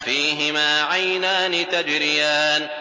فِيهِمَا عَيْنَانِ تَجْرِيَانِ